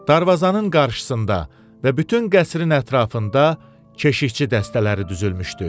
Darvazanın qarşısında və bütün qəsrin ətrafında keşikçi dəstələri düzülmüşdü.